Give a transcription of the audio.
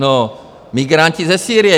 No, migranti ze Sýrie.